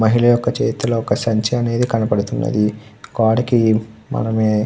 మహిళ ఒక చేతిలో ఒక సంచి అనేదే కనపడుతుంది. గోడకి మనమే --